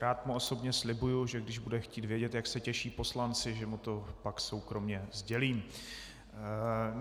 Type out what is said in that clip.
Rád mu osobně slibuji, že když bude chtít vědět, jak se těší poslanci, že mu to pak soukromě sdělím.